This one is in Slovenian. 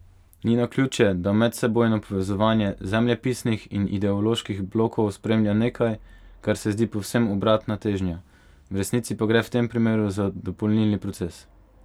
Ni naključje, da medsebojno povezovanje zemljepisnih in ideoloških blokov spremlja nekaj, kar se zdi povsem obratna težnja, v resnici pa gre v tem primeru za dopolnilni proces.